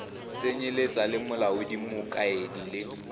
tsenyeletsa le molaodi mokaedi le